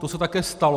To se také stalo.